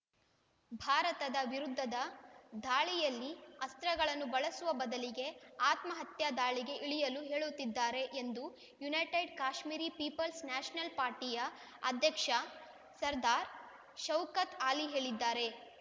ಭಾರತದ ವಿರುದ್ಧದ ದಾಳಿಯಲ್ಲಿ ಅಸ್ತ್ರಗಳನ್ನು ಬಳಸುವ ಬದಲಿಗೆ ಆತ್ಮಹತ್ಯಾ ದಾಳಿಗೆ ಇಳಿಯಲು ಹೇಳುತ್ತಿದ್ದಾರೆ ಎಂದು ಯುನೈಟೆಡ್ ಕಾಶ್ಮೀರಿ ಪೀಪಲ್ಸ್ ನ್ಯಾಷನಲ್ ಪಾರ್ಟಿಯ ಅಧ್ಯಕ್ಷ ಸರದಾರ್ ಶೌಕತ್ ಆಲಿ ಹೇಳಿದ್ದಾರೆ